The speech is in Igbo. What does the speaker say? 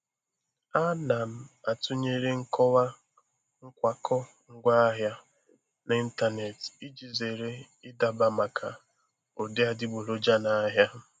A na m atụnyere nkọwa nkwakọ ngwaahịa n'ịntanetị iji zere ịdaba maka ụdị adịgboroja n'ahịa.